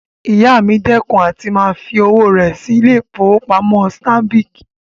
Ìyá mi dẹ́kun àti máa fi owó rẹ̀ sí ilé-ìfowópamọ́sí Stanbic